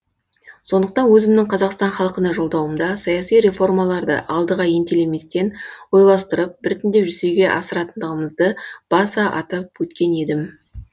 сондықтан өзімнің қазақстан халқына жолдауымда саяси реформаларды алдыға ентелеместен ойластырып біртіндеп жүзеге асыратындығымызды баса атап өткен едім